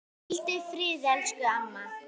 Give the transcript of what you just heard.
Hvíldu í friði, elsku amma.